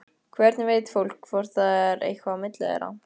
Hvernig veit fólk hvort það er eitthvað á milli þeirra?